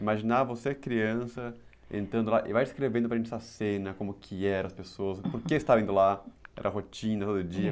Imaginar você criança entrando lá e vai descrevendo para a gente essa cena, como que era as pessoas, por que estava indo lá, era rotina todo dia.